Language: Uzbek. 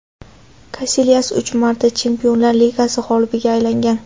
Kasilyas uch marta Chempionlar Ligasi g‘olibiga aylangan.